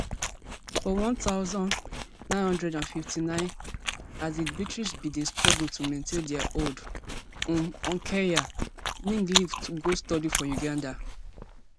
for one thousand, nine hundred and fifty-nine as di british bin dey struggle to maintain dia hold um on kenya ngg leave to go study for uganda